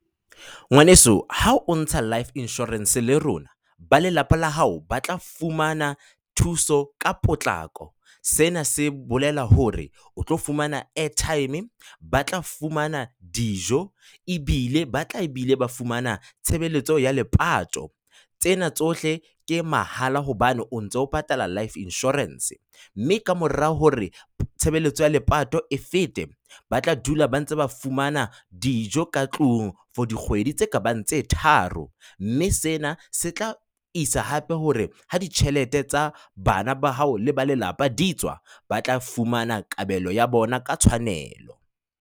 Ngwaneso ha o ntsha Life Insurance le rona, ba lelapa la hao ba tla fumana thuso ka potlako. Sena se bolela hore o tlo fumana airtime. Ba tla fumana dijo ebile ba tla e bile ba fumana tshebeletso ya lepato. Tsena tsohle ke mahala hobane o ntso patala Life Insurance. Mme ka mora hore tshebeletso ya lepato e fete, ba tla dula ba ntse ba fumana dijo ka tlung for dikgwedi tse kabang tse tharo. Mme sena se tla isa hape hore ha ditjhelete tsa bana ba hao le ba lelapa di tswa, ba tla fumana kabelo ya bona ka tshwanelo.